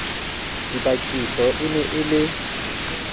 dibakiso e ne e le